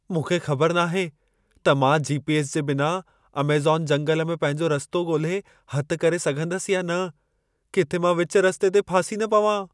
मूंखे ख़बर नाहे त मां जी.पी.एस. जे बिना अमेज़ॅन जंगल में पंहिंजो रस्तो ॻोल्हे हथु करे सघंदसि या न। किथे मां विच रस्ते ते फासी न पवां।